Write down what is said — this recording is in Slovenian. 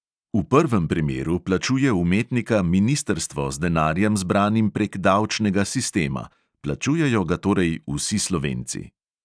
V prvem primeru plačuje umetnika ministrstvo z denarjem, zbranim prek davčnega sistema – plačujejo ga torej vsi slovenci.